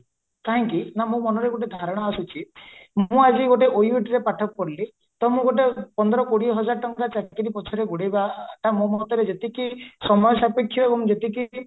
କାହିଁକି ନା ମୋ ମନରେ ଗୋଟେ ଧାରଣା ଆସୁଛି ମୁଁ ଆଜି ଗୋଟେ OUT ରେ ପାଠ ପଢିଲି ତ ମୁଁ ଗୋଟେ ପନ୍ଦର କୋଡିଏ ହଜାର ଟଙ୍କା ଚାକିରୀ ପଛରେ ଗୋଡେଇବା ତ ମୋ ମତରେ ଯେତିକି ଏବଂ ଯେତିକି